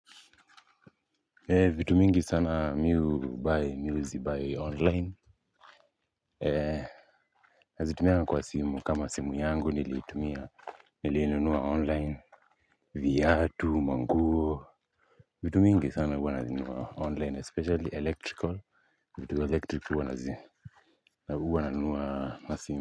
Ee vitu mingi sana mimi ubai mimi uzibai online. Ee nazitumia kwa simu, kama simu yangu niliitumia. Niliinunua online viatu manguo vitu mingi sana huwa nazinunua online especially electrical. Vitu electric huwa nazi huwa nanua na simu.